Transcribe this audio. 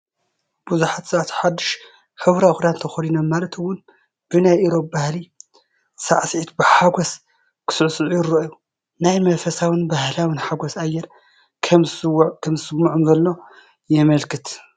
ብዙሓት ሰባት ሓድሽ ሕብራዊ ክዳን ተኸዲኖም ማለት ውን ብናይ ኢሮብ ባህላዊ ሳዕሲዒት ብሓጎስ ክሳዕስዑ ይረኣዩ። ናይ መንፈሳውን ባህላውን ሓጎስ ኣየር ከምዝስመዖም ዘሎ የመልክት።